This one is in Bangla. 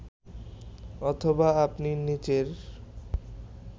অথবা আপনি নিচের